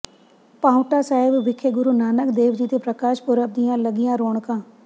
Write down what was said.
ਪਾਉਂਟਾ ਸਾਹਿਬ ਵਿਖੇ ਗੁਰੂ ਨਾਨਕ ਦੇਵ ਜੀ ਦੇ ਪ੍ਰਕਾਸ਼ ਪੁਰਬ ਦੀਆਂ ਲੱਗੀਆਂ ਰੌਣਕਾਂ